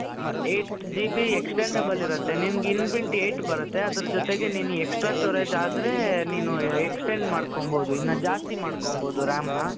eight GBextendable ಇರುತ್ತೆ ನಿನಗೆ inbuilt eight ಬರುತ್ತೆ ಅದರ ಜೊತೆಗೆ ನೀನು extra storage ಆದ್ರೆ ನೀನು extend ಮಾಡ್ಕೋಬಹುದು ಇನ್ನ ಜಾಸ್ತಿ ಮಾಡ್ಕೊಬಹುದು RAM ನ